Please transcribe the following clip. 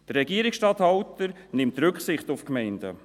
Der Regierungsstatthalter nimmt Rücksicht auf die Gemeinden.